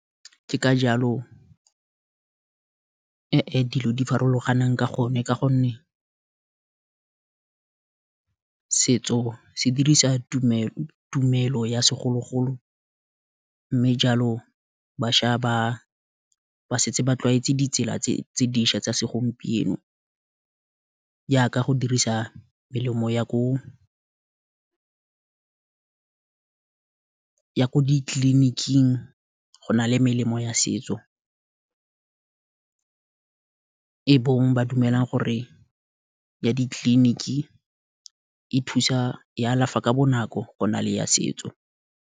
Ke ka jalo dilo di farologanang ka gonne, ka gonne setso se dirisa tumelo ya segologolo, mme jalo bašwa ba setse ba tlwaetse ditsela tse dišwa tsa segompieno, yaka go dirisa melemo ya ko ditleliniking go na le melemo ya setso, e bong, ba dumelang gore, ya ditleliniki e thusa ya alafa ka bonako go na le ya setso.